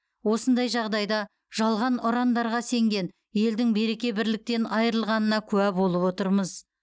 осындай жағдайда жалған ұрандарға сенген елдің береке бірліктен айырылғанына куә болып отырмыз